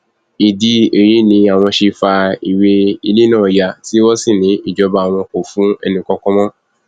ìdí èyí ni àwọn ṣe fa ìwé ilẹ náà ya tí wọn sì ní ìjọba àwọn kò fún ẹnìkankan mọ